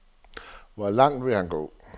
Hvor langt vil han gå?